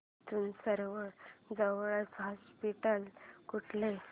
इथून सर्वांत जवळचे हॉस्पिटल कुठले